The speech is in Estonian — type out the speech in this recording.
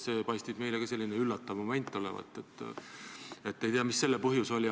See paistis meile ka sellise üllatava momendina, ei tea, mis selle põhjus oli.